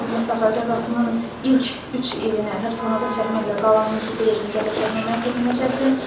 Zeynalov Mustafa cəzasının ilk üç ilini həbsxanada çəkməklə qalan 16 ilini cəzaçəkmə müəssisəsində çəksin.